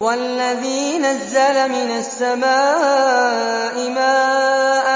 وَالَّذِي نَزَّلَ مِنَ السَّمَاءِ مَاءً